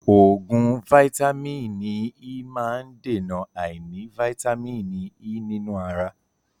Oògùn vàìtamínií E má ń dèna àìní vàìtamínií E nínú ara.